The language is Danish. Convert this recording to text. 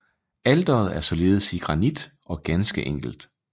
Alteret er ligeledes i granit og ganske enkelt